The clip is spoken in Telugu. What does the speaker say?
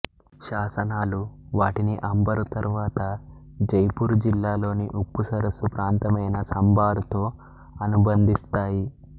శాసనాలు వాటిని అంబరు తరువాత జైపూరు జిల్లాలోని ఉప్పు సరస్సు ప్రాంతమైన సంభారుతో అనుబంధిస్తాయి